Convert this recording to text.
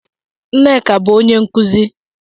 Nneka bu onye nkuzi